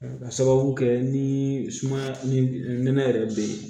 Ka sababu kɛ ni sumaya ni nɛnɛ yɛrɛ bɛ ye